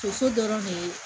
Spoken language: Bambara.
Toso dɔrɔn ne ye